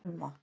Irma